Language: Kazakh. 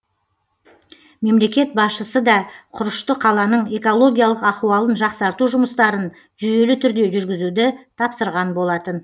мемлекет басшысы да құрышты қаланың экологиялық ахуалын жақсарту жұмыстарын жүйелі түрде жүргізуді тапсырған болатын